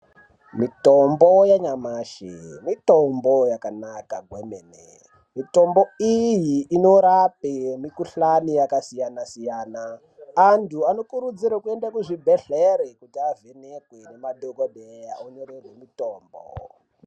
Mitombo yanyamashi mitombo yakanaka kwene, mitombo iyi unorape mukuhlani yakasiyana siyana. Antu anokurudzirwe kuende kuchibhehlere aone madhokodheye anyorerwe mitombo .